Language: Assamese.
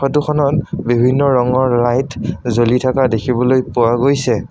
ফটো খনত বিভিন্ন ৰঙৰ লাইট জ্বলি থকা দেখিবলৈ পোৱা গৈছে।